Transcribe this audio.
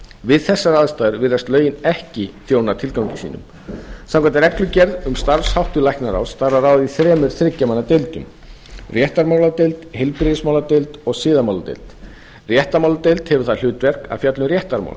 við þessar aðstæður virðast lögin ekki þjóna tilgangi sínum samkvæmt reglugerð um starfsháttu læknaráðs skal það starfa í þremur þriggja manna deildum réttarmáladeild heilbrigðismáladeild og siðamáladeild réttarmáladeild hefur það hlutverk að fjalla um réttarmál